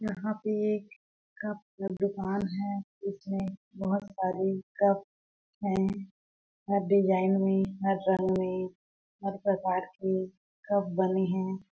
यहाँ पे एक कप का दुकान है इसमे बहोत सारी कप है हर डिज़ाइन मे हर रंग मे हर प्रकार कि कप बने है।